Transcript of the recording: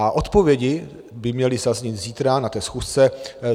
A odpovědi by měly zaznít zítra na té schůzce.